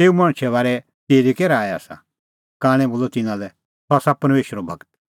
तेऊ मणछे बारै तेरी कै राऐ आसा कांणै बोलअ तिन्नां लै सह आसा परमेशरो गूर